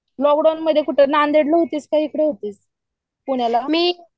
Lockdown मध्ये नांदेड ला होतीस का इकडे होतीस? पुण्याला?